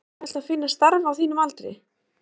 Helga: Er auðvelt að finna starf á þínum aldri?